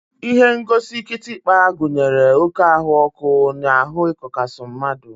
Ihengosi kịtịkpa gụnyere oké ahụọkụ na ahụ ịkọkasi mmadụ.